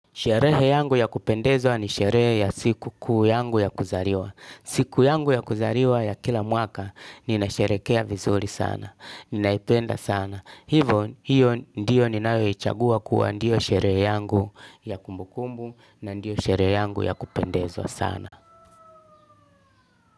Sherehe yangu ya kupendeza ni sherehe ya siku kuu yangu ya kuzariwa. Siku yangu ya kuzariwa ya kila mwaka, nina sherehekea vizuri sana, ninaipenda sana. Hivo, hiyo ndiyo ninayoichagua kuwa ndiyo sherehe yangu ya kumbukumbu na ndiyo sherehe yangu ya kupendeza sana.